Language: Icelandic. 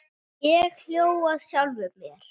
Ég hló að sjálfum mér.